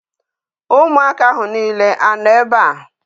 Ụmụaka ahụ niile anọ ebe a?